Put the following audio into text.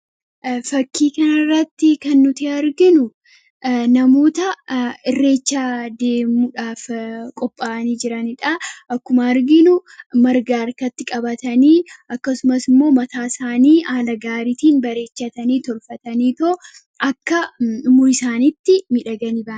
Fakkii kanarratti kan nuti arginu namoota irreecha deemuudhaaf qophaa'anii jirani dhaa. Akkuma arginu marga harkatti qabatanii akkasumas immoo mataa isaanii haala gaariitiin bareechatanii tolfataniitoo akka umurii isaaniitti miidhaganii ba'an.